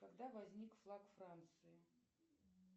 когда возник флаг франции